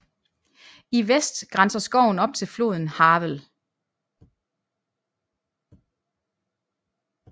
I vest grænser skoven op til floden Havel